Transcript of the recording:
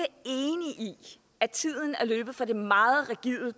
i at tiden er løbet fra det meget rigide